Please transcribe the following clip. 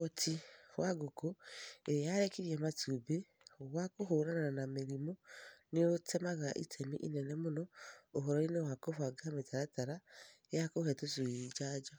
Uhoti wa ngũkũ ĩrĩa yarekirie matumbĩ wa kũhũrana na mĩrimũ nĩũtemaga itemi inene mũno ũhoro-inĩ wa kũbanga mĩtaratara ya kũhe tũcui njanjo.